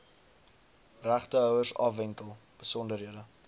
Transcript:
regtehouers afwentel besonderhede